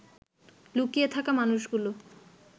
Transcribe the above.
লুকিয়ে থাকা মানুষগুলো